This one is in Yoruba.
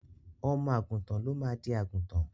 Ọmọ à̀gùntàn ló máa di àgùntàn.